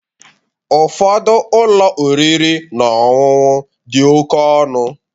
Ụfọdụ ụlọ oriri na ọṅụṅụ dị oke ọnụ